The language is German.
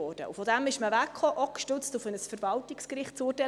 Davon kam man weg, auch gestützt auf ein Verwaltungsgerichtsurteil.